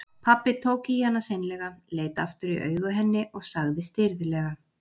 Pabbi tók í hana seinlega, leit aftur í augu henni og sagði stirðlega